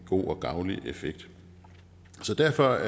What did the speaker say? god og gavnlig effekt så derfor